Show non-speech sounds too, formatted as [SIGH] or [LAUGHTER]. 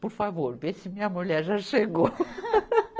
Por favor, vê se minha mulher já chegou. [LAUGHS]